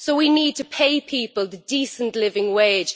So we need to pay people a decent living wage